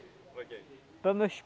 Como é que é?